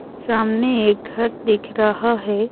सामने एक घर दिख रहा हैं।